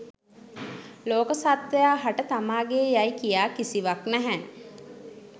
ලෝක සත්ත්වයා හට තමාගේ යයි කියා කිසිවක් නැහැ.